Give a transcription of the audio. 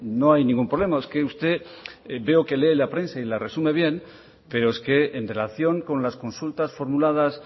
no hay ningún problema es que usted veo que lee la prensa y la resume bien pero es que en relación con las consultas formuladas